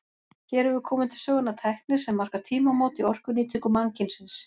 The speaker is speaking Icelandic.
Hér hefur komið til sögunnar tækni sem markar tímamót í orkunýtingu mannkynsins.